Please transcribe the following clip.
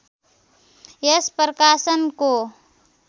यस प्रकाशनको